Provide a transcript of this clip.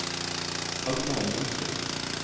Agnar Johnsrud